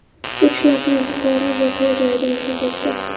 Uch nafar fuqaro voqea joyida vafot etdi.